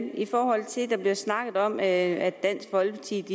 i forhold til at der bliver snakket om at dansk folkeparti